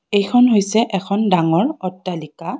এইখন হৈছে এখন ডাঙৰ অট্টালিকা।